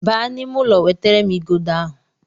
Baa n'ime ụlọ wetara m igodo ahụ!